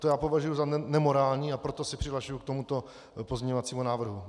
To já považuji za nemorální, a proto se přihlašuji k tomuto pozměňovacímu návrhu.